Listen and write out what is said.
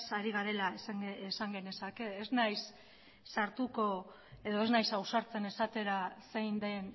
ari garela esan genezake ez naiz sartuko edo ez naiz ausartzen esatera zein den